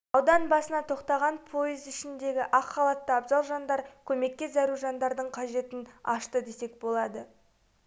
аудан басына тоқтаған пойыз ішіндегі ақ халатты абзал жандар көмекке зәру жандардың қажетін ашты десек болады